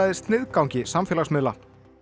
sniðgangi samfélagsmiðla